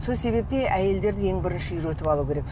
сол себепті әйелдерді ең біірінші үйретіп алу керек